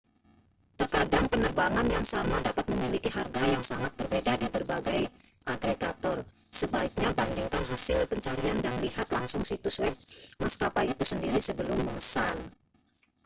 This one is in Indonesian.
terkadang penerbangan yang sama dapat memiliki harga yang sangat berbeda di berbagai agregator sebaiknya bandingkan hasil pencarian dan lihat langsung situs web maskapai itu sendiri sebelum memesan